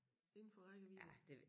Inden for rækkevidde